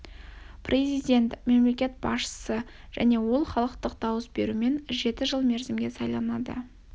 президент мемлекеттік басшысы және ол халықтың дауыс беруімен жеті жыл мерзімге сайланады